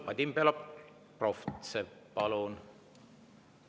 Vadim Belobrovtsev, palun!